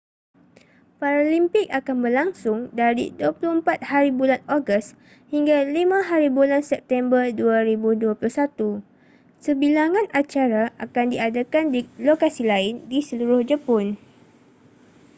paralimpik akan berlangsung dari 24hb ogos hingga 5hb september 2021 sebilangan acara akan diadakan di lokasi lain di seluruh jepun